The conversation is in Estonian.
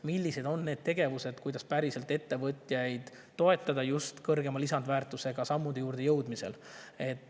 Millised on need tegevused, millega päriselt ettevõtjaid toetada, et nad jõuaks sammudeni, mis just kõrgema lisandväärtuse?